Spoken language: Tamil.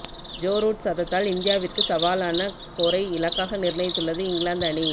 ஜோ ரூட் சதத்தால் இந்தியாவிற்கு சவாலான ஸ்கோரை இலக்காக நிர்ணயித்துள்ளது இங்கிலாந்து அணி